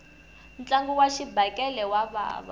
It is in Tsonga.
ntlangu wa xibakele wa vava